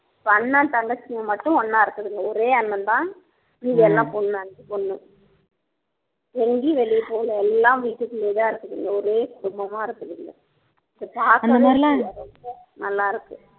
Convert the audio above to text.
இப்ப அண்ணன் தங்கச்சிங்க மட்டும் ஒண்ணா இருக்குதுங்க ஒரே அண்ணன் தான் மீதியெல்லாம் பொண்ணு அஞ்சு பொண்ணு எங்கயும் வெளிய போகல எல்லாம் வீட்டுக்குள்ளயேதான் இருக்குதுங்க ஒரே குடும்பமா இருக்குதுங்க இத பாக்கவே நல்லா இருக்கு